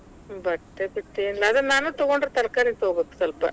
ಬಟ್ಟೆ ಬಿಟ್ಟ ಏನ್, ಅದ ನಾನು ತೊಗೊಂಡ್ರೆ ತರಕಾರಿ ತಗೊಬೇಕ ಸ್ವಲ್ಪ.